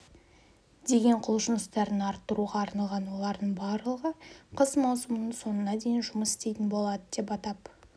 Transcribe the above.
деген құлшыныстарын арттыруға арналған олардың барлығы қыс маусымының соңына дейін жұмыс істейтін болады деп атап